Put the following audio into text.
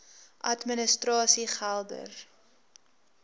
administrasiegeldr